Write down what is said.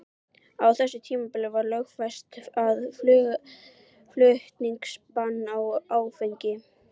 Á þessu tímabili var lögfest aðflutningsbann á áfengi.